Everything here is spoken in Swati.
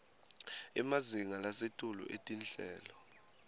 emazinga lasetulu etinhlelo